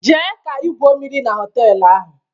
Jee ka igwuo mmiri na họtelu ahụ!